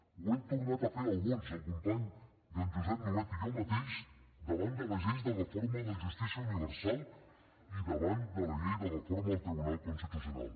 ho hem tornat a fer alguns el company joan josep nuet i jo mateix davant de les lleis de reforma de justícia universal i davant de la llei de reforma del tribunal constitucional